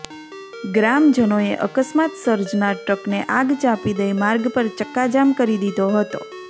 ગ્રામજનોએ અકસ્માત સજર્નાર ટ્રકને આગ ચાંપી દઈ માર્ગ પર ચક્કાજામ કરી દીધો હતો